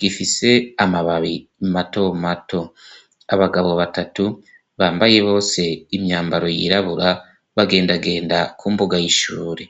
gifise amababi imato mato abagabo batatu bambaye bose imyambaro yirabura bagendagenda ko umbuga yishure.